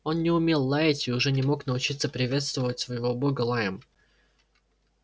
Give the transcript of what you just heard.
он не умел лаять и уже не мог научиться приветствовать своего бога лаем